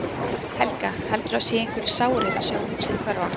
Helga: Heldurðu að það séu einhverjir sárir að sjá húsið hverfa?